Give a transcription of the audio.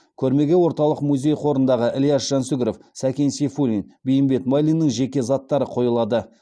көрмеге орталық музей қорындағы ілияс жансүгіров сәкен сейфуллин бейімбет майлиннің жеке заттары қойылады